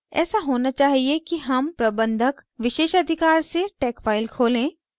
ऐसा होना चाहिए कि हम प्रबंधक विशेषाधिकार से tex file खोलें